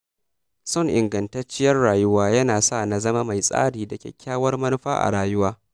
Son ingantacciyar rayuwa yana sa na zama mai tsari da kyakkyawar manufa a rayuwa.